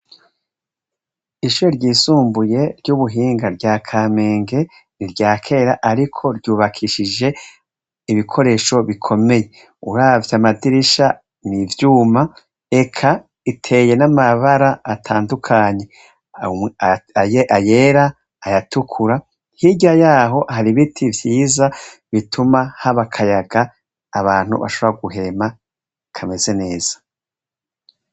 Ishure ryisumbuye ry'ubuhinga rya Kamenge niryakera ariko ryubakishije ibikoresho bikomeye, uravye amadirisha n'ivyuma eka iteye n'amabara atandukanye ayera, ayatukura, hirya yaho hari ibiti vyiza bituma haba akayaga abantu bashobora guhema kameze neza.